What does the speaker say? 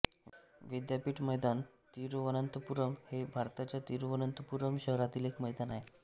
विद्यापीठ मैदान तिरुवनंतपुरम हे भारताच्या तिरुवनंतपुरम शहरातील एक मैदान आहे